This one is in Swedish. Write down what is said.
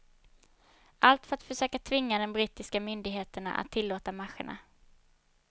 Allt för att försöka tvinga den brittiska myndigheterna att tillåta marscherna.